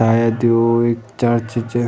सायद यु एक चर्च च।